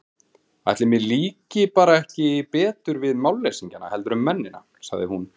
Ætli mér líki bara ekki betur við málleysingjana heldur en mennina, sagði hún.